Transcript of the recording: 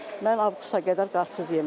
Mən avqusta qədər qarpız yemrəm.